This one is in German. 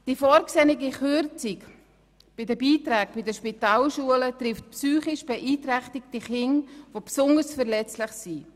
Die vorgesehene Kürzung bei den Beiträgen für die Spitalschulen trifft psychisch beeinträchtigte Kinder, die besonders verletzlich sind.